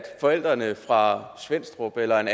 forældrene fra svenstrup eller